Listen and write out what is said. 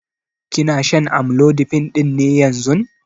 Kina shan amlodipine ɗin ne yanzun?